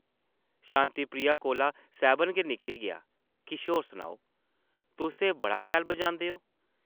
शांति प्रिया कोला सैह्बन गै निकली गेआ ,‘‘ किश होर सनाओ । तुस ते बड़ा शैल बजांदे ओ ।’’